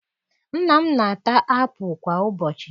Nna m na-ata apụ kwa ụbọchị